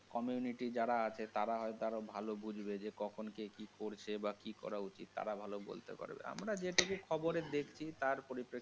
community যারা আছে তারা হয়তো আরো ভালো বুঝবে যে কখন কে কি করছে বা কি করা উচিত তারা ভালো বলতে পারবে। আমরা যেটুকু খবরে দেখছি তার পরিপ্রেক্ষি।